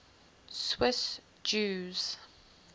swiss jews